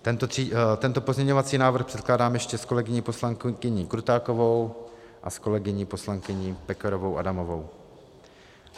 Tento pozměňovací návrh předkládám ještě s kolegyní poslankyní Krutákovou a s kolegyní poslankyní Pekarovou Adamovou.